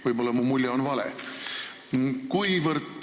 Võib-olla mu mulje on vale.